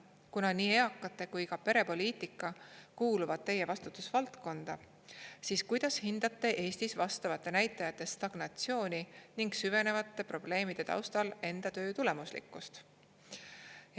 Kuna nii eakate kui ka perepoliitika kuuluvad Teie vastutusvaldkonda, siis kuidas hindate Eestis vastavate näitajate stagnatsiooni ning süvenevate probleemide taustal enda töö tulemuslikkust?